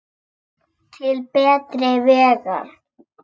Til betri vegar.